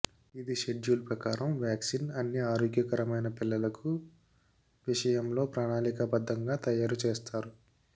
ఇది షెడ్యూల్ ప్రకారం వ్యాక్సిన్ అన్ని ఆరోగ్యకరమైన పిల్లలకు విషయంలో ప్రణాళికాబద్ధంగా తయారు చేస్తారు